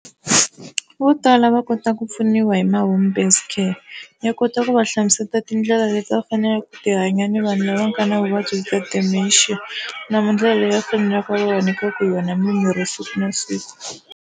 Vo tala va kota ku pfuniwa hi ma home-based care ya kota ku va hlamuseta tindlela leti va faneleke ku ti hanya ni vanhu lava nga na vuvabyi bya Dementia na ndlela leyi va faneleke va va nyikaka hi yona mimirhi siku na siku.